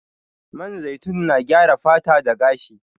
Man zaitun na gyara fata da gashi.